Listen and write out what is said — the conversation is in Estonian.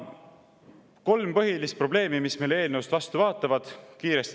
Nimetan kiiresti kolm põhilist probleemi, mis meile eelnõust vastu vaatavad.